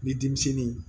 Ni denmisɛnnin